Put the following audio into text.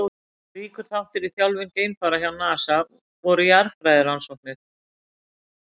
Ríkur þáttur í þjálfun geimfara hjá NASA voru jarðfræðirannsóknir.